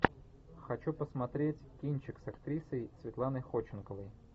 хочу посмотреть кинчик с актрисой светланой ходченковой